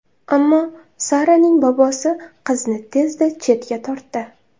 Ammo Saraning bobosi qizni tezda chetga tortdi.